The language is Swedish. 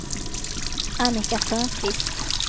Annika Törnqvist